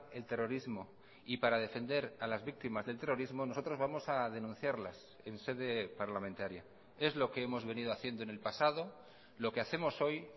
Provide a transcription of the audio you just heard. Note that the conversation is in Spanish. el terrorismo y para defender a las víctimas del terrorismo nosotros vamos a denunciarlas en sede parlamentaria es lo que hemos venido haciendo en el pasado lo que hacemos hoy